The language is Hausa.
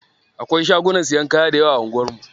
Akwai shagunan siyan kaya dayawa a anguwar mu.